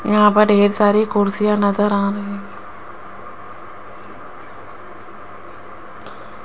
यहां पर ढेर सारी कुर्सियां नजर आ रही --